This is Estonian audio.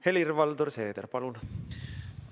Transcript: Helir-Valdor Seeder, palun!